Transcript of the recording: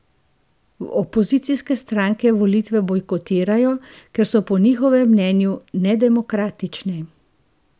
Opozicijske stranke volitve bojkotirajo, ker so po njihovem mnenju nedemokratične.